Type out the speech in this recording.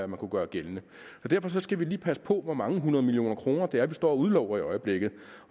man kunne gøre gældende derfor skal vi lige passe på med hvor mange hundrede millioner kroner det er vi står og udlover i øjeblikket